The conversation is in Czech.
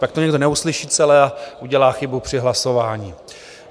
Pak to někdo neuslyší celé a udělá chybu při hlasování.